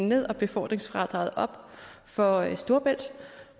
ned og befordringsfradraget op for storebælt